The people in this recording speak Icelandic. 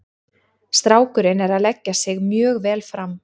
Strákurinn er að leggja sig mjög vel fram.